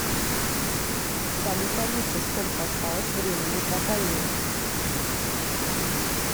салют алиса сколько осталось времени по таймеру